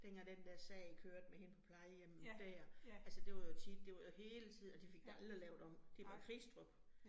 Dengang den der sag kørte med hende på plejehjemmet dér, altså det var jo tit, det var jo hele tiden, og de fik det aldrig lavet det om. Det var Kristrup